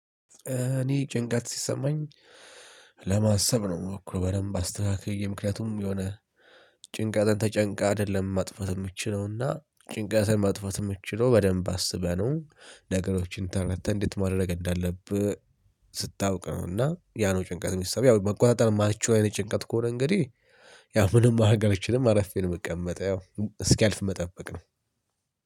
እኔ ጭንቀት ሲሰማኝ ለማሰብ ነው ምሞክረው በደንብ አስተካክዬ ምክንያቱም የሆነ ጭንቀትን ተጨንቀህ አይደለም ማጥፋት የምትችለውና ጭንቀትን ማጥፋት የምትችለው በደንብ አስበህ ነው። ነገሮችን ተረድተህ እንዴት ማድረግ እንዳለብህ ስታውቅ ነው እና ያ ነው ጭንቀት የሚሰማው ያው መቆጣጠር ማችለው አይነት ጭንቀት ከሆነ እንግዲህ ያው ምንም ማድረግ አልችልም አርፌ ነው የምቀመጠው ያው እስኪያልፍ መጠበቅ ነው።